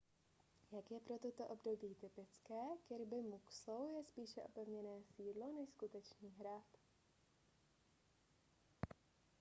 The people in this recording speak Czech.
jak je pro toto období typické kirby muxloe je spíše opevněné sídlo než skutečný hrad